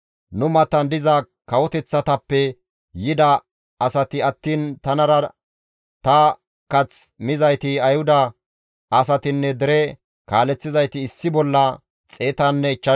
Nu matan diza kawoteththatappe yida asati attiin tanara ta kath mizayti Ayhuda asatinne dere kaaleththizayti issi bolla 150.